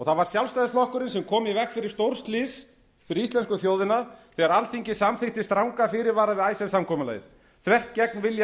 það var sjálfstæðisflokkurinn sem kom í veg fyrir stórslys fyrir íslensku þjóðina þegar alþingi samþykkti stranga fyrirvara við icesave samkomulagið þvert gegn vilja